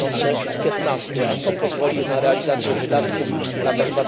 2015. A to pozwoli na realizację wydatków w latach